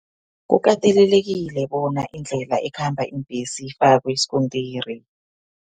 Kukatelelekile bona, indlela ekhamba iimbhesi ifakwe iskontiri.